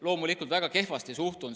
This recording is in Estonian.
Loomulikult väga kehvasti suhtun.